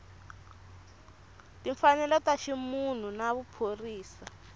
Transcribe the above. timfanelo ta ximunhu na vuphorisa